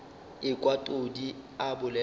ekwa todi a bolela bjalo